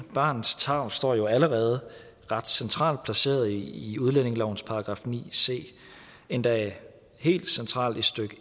barnets tarv står jo allerede ret centralt placeret i i udlændingelovens § ni c endda helt centralt i stykke